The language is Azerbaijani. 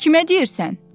Kimə deyirsən?